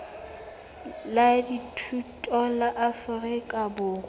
la dithuto la afrika borwa